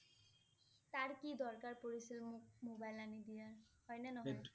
তাৰ কি দৰকাৰ পৰিছে মোক mobile আনি দিয়া, হয় নে নহয়?